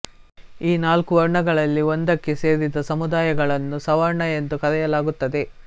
ಈ ನಾಲ್ಕು ವರ್ಣಗಳಲ್ಲಿ ಒಂದಕ್ಕೆ ಸೇರಿದ ಸಮುದಾಯಗಳನ್ನು ಸವರ್ಣ ಎಂದು ಕರೆಯಲಾಗುತ್ತದೆ